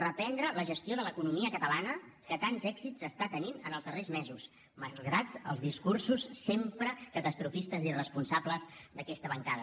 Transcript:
reprendre la gestió de l’economia catalana que tants èxits està tenint en els darrers mesos malgrat els discursos sempre catastrofistes i irresponsables d’aquesta bancada